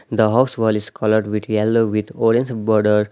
The house wall is coloured with yellow with orange border.